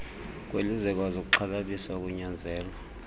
kwelizwekazi kuxhalabisa ukunyanzelwa